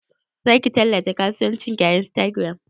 Zaki tallata kasuwancin ki a Instagram?